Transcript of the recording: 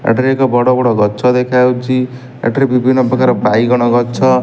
ଏଠାରେ ଏକ ବଡ-ବଡ ଗଛ ଦେଖାଯାଉଛି ଏଠାରେ ବିଭିନ୍ନ ପ୍ରକାର ବାଇଗଣ ଗଛ --